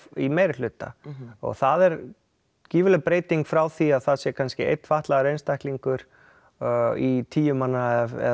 í meiri hluta það er gífurleg breyting frá því að það sé kannski einn fatlaður einstaklingur í tíu manna eða